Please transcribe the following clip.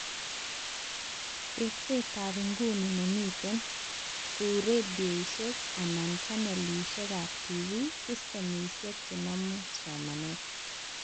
Teksetab nguni nemiten(kou redoishek anan channelishekab TV,systemishek chenamu somanet